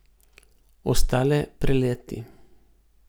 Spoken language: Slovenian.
Ostale preleti.